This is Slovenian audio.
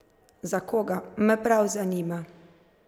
Za koga, me prav zanima?